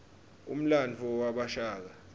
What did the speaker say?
umlandvo wabashaka